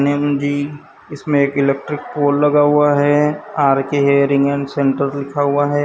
Maybe इसमे एक electric pole लगा हुआ है R K hearing and centre लिखा हुआ है।